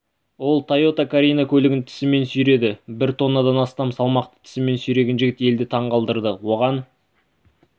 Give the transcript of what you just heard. ол тойота карина көлігін тісімен сүйреді бір тоннадан астам салмақты тісімен сүйреген жігіт елді таңғалдырды оған